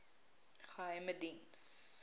geheimediens